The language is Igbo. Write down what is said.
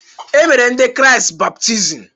E mere ndị kraịst baptizim.